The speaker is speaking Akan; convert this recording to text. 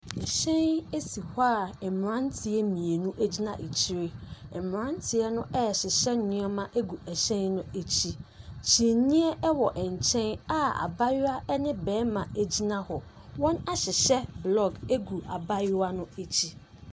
Hyɛn si hɔ a mmeranteɛ mmienu gyina akyire. Mmeranteɛ no resesa nneɛma agu hyɛn no akyi. Kyiniiɛ wɔ nkyɛn a abayewa ne barima gyina hɔ. Wɔahyehyɛ block gu abayewa no akyi.